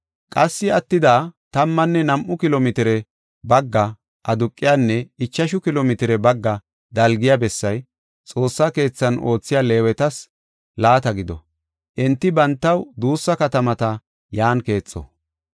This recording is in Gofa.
Qassi attida tammanne nam7u kilo mitire bagga aduqiyanne ichashu kilo mitire bagga dalgiya bessay Xoossaa keethan oothiya Leewetas laata gido; enti bantaw duussa katamata yan keexo.